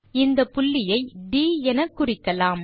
இந்த புள்ளியை ட் எனக்குறிக்கலாம்